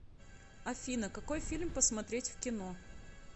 афина какой фильм посмотреть в кино